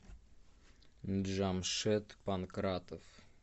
джамшед панкратов